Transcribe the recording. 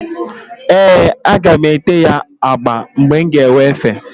Ee, aga m ete ya agba mgbe m ga-enwe efe.